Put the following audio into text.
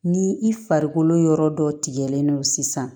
Ni i farikolo yɔrɔ dɔ tigɛlen don sisan